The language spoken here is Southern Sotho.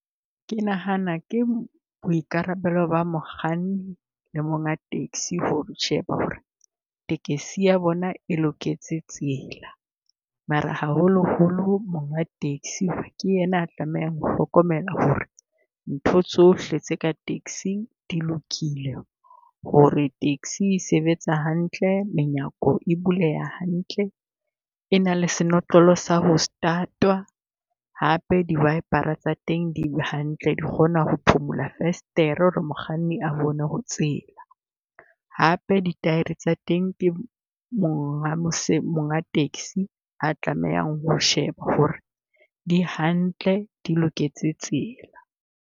Ke nahana ke boikarabelo ba mokganni le monga taxi ho sheba ho re tekesi ya bona e loketse tsela. Mara haholoholo onga taxi ke yena a tlamehang ho hlokomela ho re ntho tsohle tse ka taxi-ng di lokile. Ho re taxi e sebetsa hantle, menyako e buleha hantle, e na le senotlolo sa ho start-twa hape di wiper-a tsa teng di hantle di kgona ho phumula festere ho re mokganni a bone ho tsela. Hape dithaere tsa teng ke monga monga taxi a tlamehang ho sheba ho re di hantle di loketse tsela.